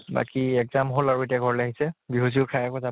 বাকী exam হʼল আৰু, এতিয়া ঘৰলৈ আহিছে । বিহু চিহু খাই আকৌ যা